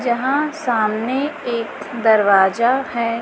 जहां सामने एक दरवाजा है।